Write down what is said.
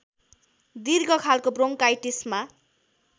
दीर्घ खालको ब्रोङकाइटिसमा